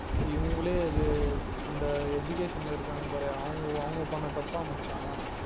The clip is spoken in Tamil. இவுங்களே இது அந்த Education ல இருக்காங்க பாரு அவுங்க அவுங்க பண்ண தப்பாம் மச்சா